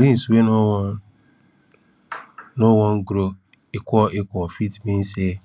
beans wey no wan no wan grow equal equal fit mean say